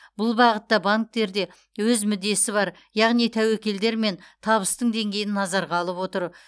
бұл бағытта банктерде өз мүддесі бар яғни тәуекелдер мен табыстың деңгейін назарға алып отыр